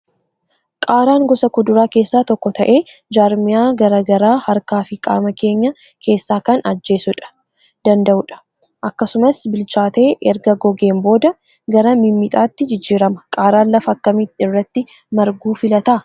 Qaaraan gosa kuduraa keessaa tokko ta'ee, jaarmiyaa garaa garaa harkaa fi qaama keenya keessaa kan ajjeesuu danda'udha. Akkasumas, bilchaatee erga gogeen booda, qara mimmixaati jijjiirama. Qaaraan lafa akkamii irratti marguu fillata?